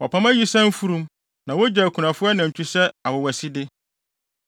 Wɔpam ayisaa mfurum na wogye akunafo anantwi sɛ awowaside.